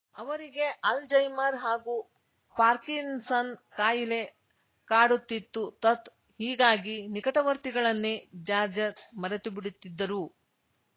ಅವರಿಗೆ ಅಲ್‌ಜೈಮರ್‌ ಹಾಗೂ ಪಾರ್ಕಿನ್ಸನ್‌ ಕಾಯಿಲೆ ಕಾಡುತ್ತಿತ್ತು ತತ್ ಹೀಗಾಗಿ ನಿಕಟವರ್ತಿಗಳನ್ನೇ ಜಾರ್ಜ್ ರ್ ಮರೆತುಬಿಡುತ್ತಿದ್ದರು